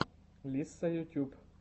лисса ютьюб